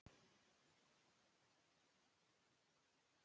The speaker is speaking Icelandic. Hún veit hvaða spurning kemur næst.